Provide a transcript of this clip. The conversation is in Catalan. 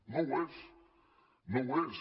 no ho és no ho és